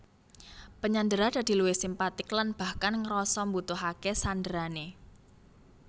Penyandera dadi luwih simpatik lan bahkan ngrasa mbutuhake sanderane